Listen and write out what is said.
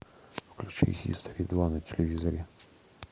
включи хистори два на телевизоре